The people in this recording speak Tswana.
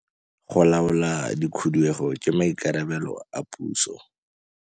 Go laola dikhudugo ke maikarabelo a puso.